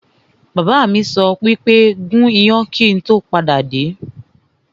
Bàbá mi sọ wípé 'gún iyán kíì tó padà dé!